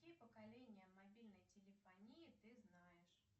какие поколения мобильной телефонии ты знаешь